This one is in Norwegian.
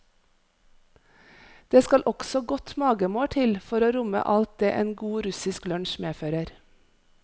Det skal også godt magemål til for å romme alt det en god russisk lunsj medfører.